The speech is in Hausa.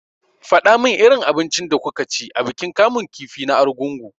Faɗa min irin abincin da kuka ci a bikin kamun kifi na argungu!